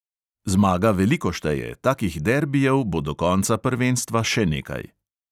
Zmaga veliko šteje, takih derbijev bo do konca prvenstva še nekaj.